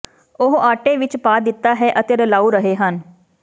ਉਹ ਆਟੇ ਵਿੱਚ ਪਾ ਦਿੱਤਾ ਹੈ ਅਤੇ ਰਲਾਉ ਰਹੇ ਹਨ